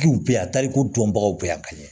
Duw bɛ yan taliko dɔnbagaw bɛ yan ka ɲɛ